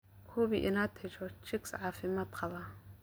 Hubi inaad hesho chicks caafimaad qaba.